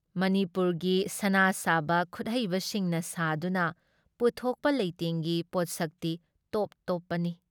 ꯃꯅꯤꯄꯨꯔꯒꯤ ꯁꯅꯥ ꯁꯥꯕ ꯈꯨꯠꯍꯩꯕꯁꯤꯡꯅ ꯁꯥꯗꯨꯅ ꯄꯨꯊꯣꯛꯄ ꯂꯩꯇꯦꯡꯒꯤ ꯄꯣꯠꯁꯛꯇꯤ ꯇꯣꯞ ꯇꯣꯞꯄꯅꯤ ꯫